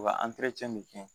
U ka bɛ kɛ